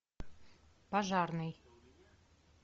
пожарный